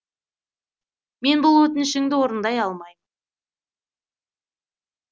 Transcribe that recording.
мен бұл өтінішіңді орындай алмаймын